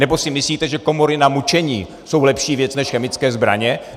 Nebo si myslíte, že komory na mučení jsou lepší věc než chemické zbraně?